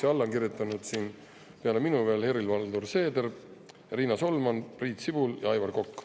Ja alla on kirjutanud peale minu veel Helir-Valdor Seeder, Riina Solman, Priit Sibul ja Aivar Kokk.